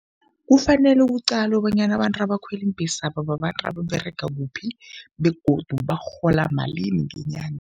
Kufanele kuqalwe bonyana abantu abakhwela iimbhesaba babantu ababerega kuphi begodu barhola malini ngenyanga.